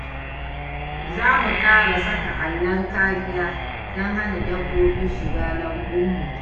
Za mu ƙara saka allon kariya don hana dabbobi shiga lambunmu.